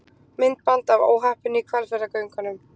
Myndband af óhappinu í Hvalfjarðargöngum